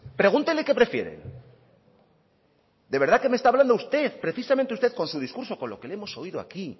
pregúntele qué prefieren de verdad que me está hablando usted precisamente usted con su discurso con lo que le hemos oído aquí